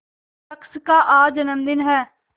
शख्स का आज जन्मदिन है